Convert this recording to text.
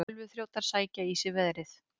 Tölvuþrjótar sækja í sig veðrið